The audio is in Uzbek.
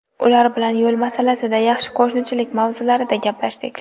Ular bilan yo‘l masalasida, yaxshi qo‘shnichilik mavzularida gaplashdik.